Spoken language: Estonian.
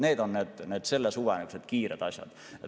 Need on selle suve kiired tööd.